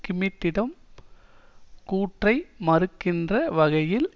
கிம்மிட்டம் கூற்றை மறுக்கின்ற வகையில்